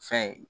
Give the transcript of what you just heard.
Fɛn ye